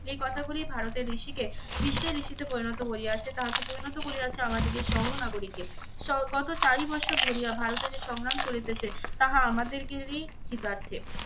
এই কথাগুলি ভারতের ঋষিকে বিশ্বের ঋষিতে পরিণত করিয়াছে, তাহাকে পরিণত করিয়াছে আমাদের সহ নাগরীকে। স~ গত চারি বর্ষ ধরিয়া ভারতের সংগ্রাম চলিতেছে তাহা আমাদেরগেরই কৃতার্থে।